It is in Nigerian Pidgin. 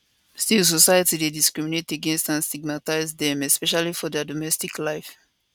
still society dey discriminate against and stigmatise dem especially for dia domestic life